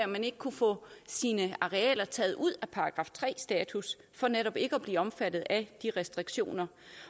man ikke kunne få sine arealer taget ud af § tre status for netop ikke at blive omfattet af de restriktioner